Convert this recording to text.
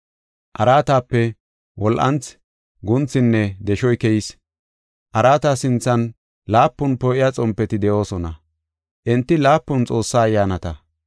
Araatape wol7anthi, guunthinne deshoy keyees. Araata sinthan laapun poo7iya xompeti de7oosona; enti laapun Xoossaa ayyaanata.